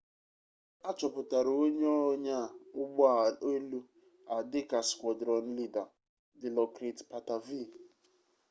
achọpụtara onye onyaa ụgbọ elu a dịka squadron leader dilokrit pattavee